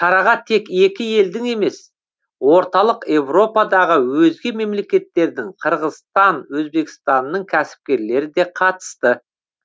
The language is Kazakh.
шараға тек екі елдің емес орталық еуропадағы өзге мемлекеттердің қырғызстан өзбекстанның кәсіпкерлері де қатысты